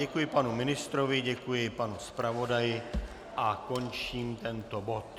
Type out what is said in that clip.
Děkuji panu ministrovi, děkuji panu zpravodaji a končím tento bod.